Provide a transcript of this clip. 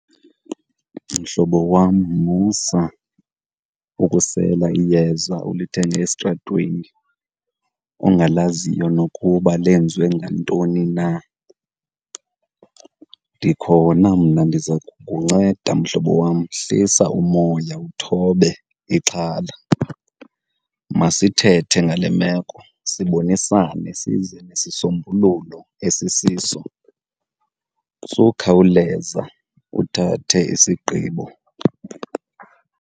Mhlobo wam, musa ukusela iyeza olithenge esitratweni ongalaziyo nokuba lenziwe ngantoni na. Ndikhona mna ndiza kukunceda mhlobo wam, hlisa umoya uthobe ixhala. Masithethe ngale meko sibonisane size nesisombululo esisiso, sukhawuleza uthathe isigqibo.